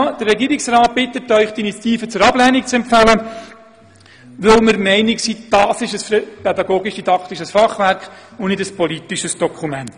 Der Regierungsrat bittet Sie, die Initiative zur Ablehnung zu empfehlen, weil wir der Meinung sind, dies sei ein pädagogisch-didaktisches Fachwerk und kein politisches Dokument.